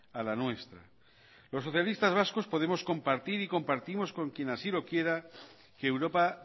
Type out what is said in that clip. a la nuestra los socialistas vascos podemos compartir y compartir con quien así lo quiera que europa